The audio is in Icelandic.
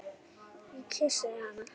Ég kyssi hana.